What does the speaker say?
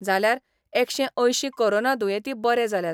जाल्यार एकशे अंयशीं कोरोना दुयेंती बरे जाल्यात.